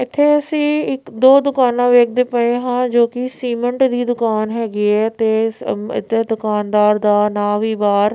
ਏੱਥੇ ਅੱਸੀ ਇੱਕ ਦੋ ਦੁਕਾਨਾਂ ਵੇਖਦੇ ਪਏ ਹਾਂ ਜੋਕਿ ਸੀਮੇਂਟ ਦੀ ਦੁਕਾਨ ਹੈਗੀ ਹੈ ਤੇ ਇੱਧਰ ਦੁਕਾਨਦਾਰ ਦਾ ਨਾਮ ਵੀ ਬਾਹਰ--